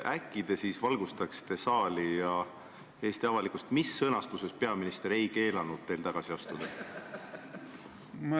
Äkki te siis valgustaksite saali ja Eesti avalikkust, mis sõnastuses peaminister ei keelanud teil tagasi astuda?